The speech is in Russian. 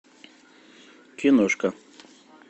киношка